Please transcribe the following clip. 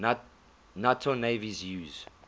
nato navies use